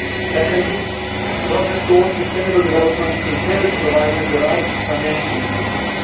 Secondly, progress towards sustainable development entails providing the right financial instruments.